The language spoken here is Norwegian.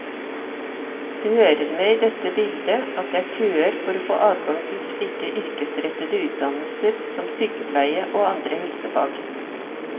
Det hører med i dette bildet at det er køer for å få adgang til slike yrkesrettede utdannelser som sykepleie og andre helsefag.